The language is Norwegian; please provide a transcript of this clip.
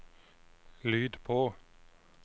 lyd på